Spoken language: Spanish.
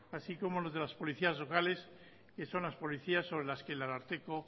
así como los de las policías locales que son las policías sobre las que el ararteko